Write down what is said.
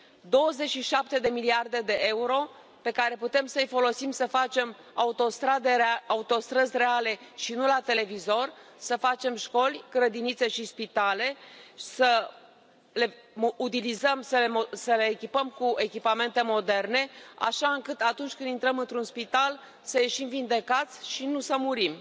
27 de miliarde de euro pe care putem să i folosim să facem autostrăzi reale, și nu la televizor, să facem școli, grădinițe și spitale, să le utilizăm să ne echipăm cu echipamente moderne, așa încât, atunci când intrăm într un spital, să ieșim vindecați și nu să murim,